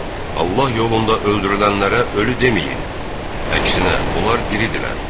Allah yolunda öldürülənlərə ölü deməyin, əksinə onlar diridirlər.